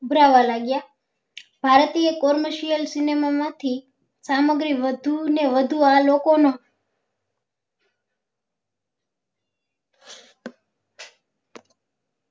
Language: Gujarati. ઉભરવા લાગ્યા ભારતીય commercial cinema માં માંથી સામગ્રી વધુ ને વધુ આ લોકો માં